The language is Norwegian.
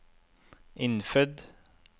innfødt